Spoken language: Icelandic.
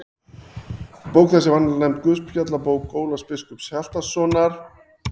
Bók þessi er vanalega nefnd Guðspjallabók Ólafs biskups Hjaltasonar.